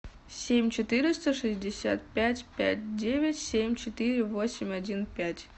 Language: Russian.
семь четыреста шестьдесят пять пять девять семь четыре восемь один пять